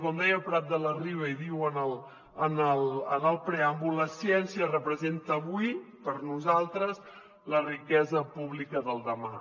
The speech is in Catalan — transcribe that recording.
com deia prat de la riba i diu en el preàmbul la ciència representa avui per nosaltres la riquesa pública del demà